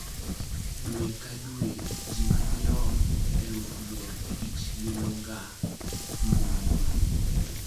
Dwe ka dwe, ji madirom 500,000 limogambuiwa.